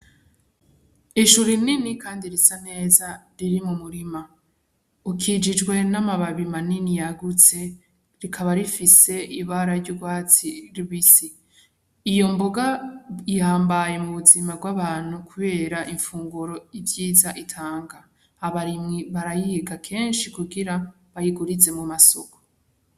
Ishu rinini Kandi risaneza ririmumurima. Ukikijwe n'amababi manini yagutse rikaba rifise ibara ry'ugwatsi rubisi. Iyo mboga ihambaye mubuzima bwabantu kubera imfunguro ivyiza itanga; abarimyi barayiga kenshi kugira bayirwize mumasoko.